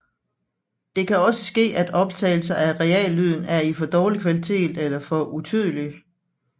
Det kan også ske at optagelser af reallyden er i for dårlig kvalitet eller for utydeligt